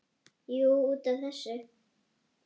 Jú, út af þessu.